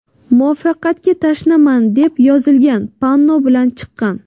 Muvaffaqiyatga tashnaman”, deb yozilgan panno bilan chiqqan.